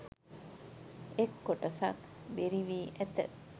එක් කොටසක් බෙරිවී ඇත.